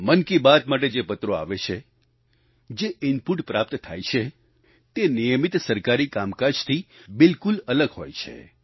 મન કી બાત માટે જે પત્રો આવે છે જે ઇનપુટ પ્રાપ્ત થાય છે તે નિયમિત સરકારી કામકાજથી બિલકુલ અલગ હોય છે